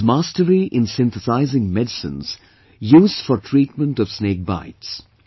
She has mastery in synthesizing medicines used for treatment of snake bites